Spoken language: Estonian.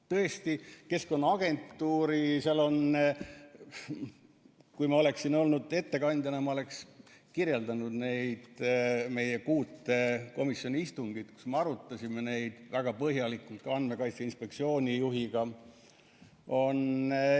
Tõesti, kui ma oleksin olnud siin ettekandjana, ma oleksin kirjeldanud neid meie kuut komisjoni istungit, kus me arutasime seda väga põhjalikult ka Andmekaitse Inspektsiooni juhiga.